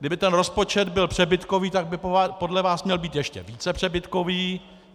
Kdyby ten rozpočet byl přebytkový, tak by podle vás měl být ještě více přebytkový.